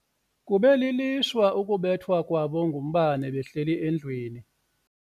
Kube lilishwa ukubethwa kwabo ngumbane behleli endlwini.